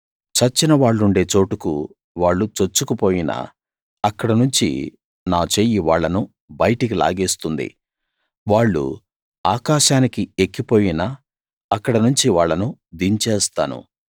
చచ్చిన వాళ్ళుండే చోటుకు వాళ్ళు చొచ్చుకు పోయినా అక్కడనుంచి నా చెయ్యి వాళ్ళను బయటికి లాగేస్తుంది వాళ్ళు ఆకాశానికి ఎక్కిపోయినా అక్కడ నుంచి వాళ్ళను దించేస్తాను